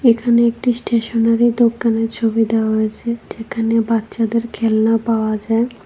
এখানে একটি স্টেশনারি দোকানের ছবি দেওয়া হইছে যেখানে বাচ্চাদের খেলনা পাওয়া যায়।